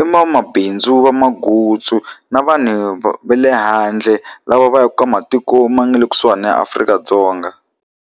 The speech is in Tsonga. i vamabindzu va magutsu na vanhu va le handle, lava va yaka ka matiko ma nga le kusuhana na ya Afrika-Dzonga.